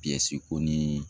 si ko ni